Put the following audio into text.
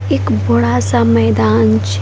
एक बड़ा-सा मैदान छ --